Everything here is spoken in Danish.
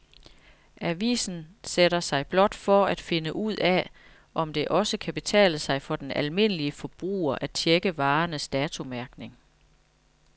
Avisen sætter sig blot for at finde ud af, om det også kan betale sig for den almindelige forbruger at checke varernes datomærkning.